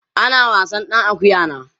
ana wasan ɗan akuƴan a